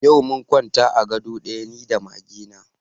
Yau mun kwanta a ga do ɗaya ni da mage na